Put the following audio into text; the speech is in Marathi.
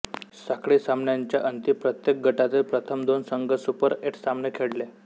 साखळी सामन्यांच्या अंती प्रत्येक गटातील प्रथम दोन संघ सुपर एट सामने खेळले